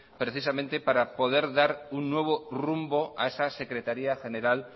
precisamente para poder dar un nuevo rumbo a esa secretaría general